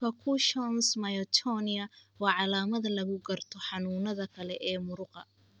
Percussions myotonia waa calaamad lagu garto xanuunada kale ee muruqa.